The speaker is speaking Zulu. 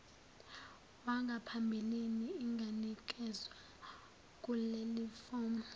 wangaphambilini inganikezwa kulelifomu